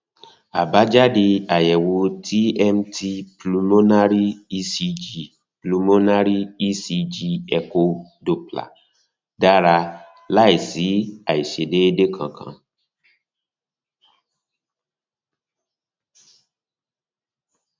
àbájáde àyẹwò tmt pulmonary ecg pulmonary ecg echo doppler dára láìsí àìṣedééde kankan